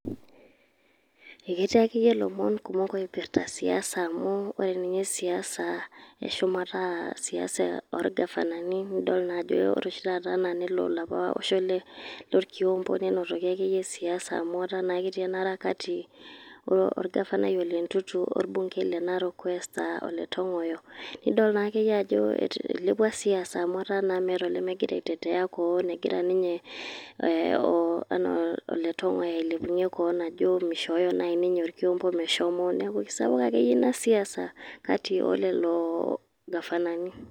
Eketii akeyie ilomon kumok oipirta siasa amu, ore ninye siasa eshumata a siasa orgavanani, nidol najo ore oshi taata ana nelo alapa osho lorkiompo, nenotoki akeyie siasa amu etaa naa ketii enara kati orgavanai ole Ntutu orbunkei le Narok West ah ole Tong'oyo, nidol naake yie ajo eilepua siasa amu etaa naa meeta olemegira aitetea keon, egira ninye enaa ole Tong'oyo ailepunye keon ajo mishooyo nai ninye orkiompo meshomo. Neeku kisapuk akeyie ina siasa, kati olelo gafanani.